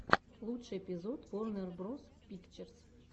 лучший эпизод ворнер броз пикчерз